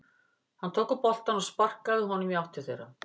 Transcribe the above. Hann tók upp boltann og sparkaði honum í átt til þeirra.